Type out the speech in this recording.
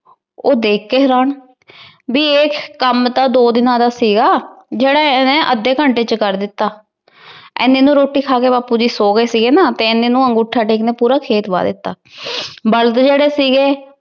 ਉਹ ਦੇਖ ਕੇ ਹੈਰਾਨ ਬੀ ਇਹ ਕੰਮ ਤਾਂ ਦੋ ਦਿਨਾਂ ਦਾ ਸੀਗਾ, ਜਿਹੜਾ ਇਹਨੇ ਅੱਧੇ ਘੰਟੇ ਚ ਕਰ ਦਿੱਤਾ। ਇਨੇ ਨੂੁੰ ਰੋਟੀ ਖਾਕੇ ਬਾਪੂ ਜੀ ਸੋਗੇ ਸੀਗੇ ਨਾ, ਇਨੇ ਨੂੁੰ ਅੰਗੂਠਾ ਟੇਕ ਨੇ ਪੂਰਾ ਖੇਤ ਵਾਹ ਦਿੱਤਾ। ਬਲਦ ਜਿਹੜੇ ਸੀਗੇ